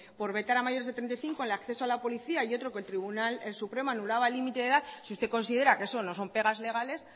por vetar a mayores de treinta y cinco en acceso a la policía y otro que el tribunal supremo anulaba el límite de la edad si usted considera que eso no son pegas legales